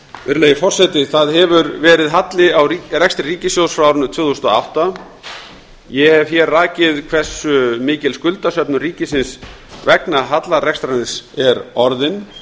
virðulegi forseti það hefur verið halli á rekstri ríkissjóðs frá árinu tvö þúsund og átta ég hef hér rakið hversu mikil skuldasöfnun ríkisins vegna hallarekstrarins er orðin